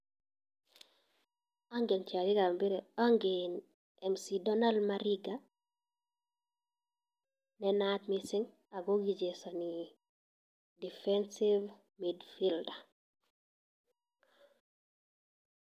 Angen tiarikab mpiret, angen Mc Donald Mariga ne naat mising ago kichesani defensive midfielder